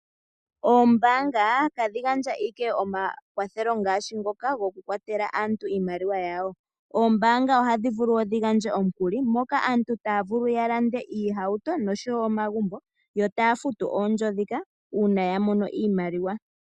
Ombaanga tadhi gandja ike omakwathelo ngaashi ngoka goku kwatela aantu iimaliwa yawo. Oombanga ohadhi vulu wo dhi gandje omukuli moka aantu taya vulu ya lande iihauto oshowo omagumbo, yo taya futu oondjo dhika uuna ya mono iimaliwa.